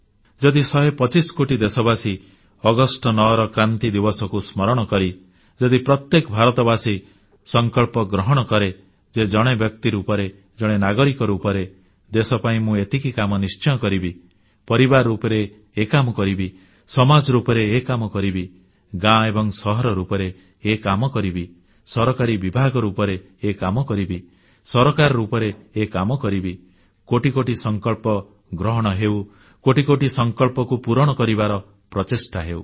ଯଦି ଶହେ ପଚିଶ କୋଟି ଦେଶବାସୀ ଅଗଷ୍ଟ 9ର କ୍ରାନ୍ତି ଦିବସକୁ ସ୍ମରଣ କରି ଯଦି ପ୍ରତ୍ୟେକ ଭାରତବାସୀ ସଂକଳ୍ପ ଗ୍ରହଣ କରେ ଯେ ଜଣେ ବ୍ୟକ୍ତି ରୂପରେ ଜଣେ ନାଗରିକ ରୂପରେ ଦେଶ ପାଇଁ ମୁଁ ଏତିକି କାମ ନିଶ୍ଚୟ କରିବି ପରିବାର ରୂପରେ ଏ କାମ କରିବି ସମାଜ ରୂପରେ ଏ କାମ କରିବି ଗାଁ ଏବଂ ସହର ରୂପରେ ଏ କାମ କରିବି ସରକାରୀ ବିଭାଗ ରୂପରେ ଏ କାମ କରିବି ସରକାର ରୂପରେ ଏ କାମ କରିବି କୋଟି କୋଟି ସଂକଳ୍ପ ଗ୍ରହଣ ହେଉ କୋଟି କୋଟି ସଂକଳ୍ପକୁ ପୂରଣ କରିବାର ପ୍ରଚେଷ୍ଟା ହେଉ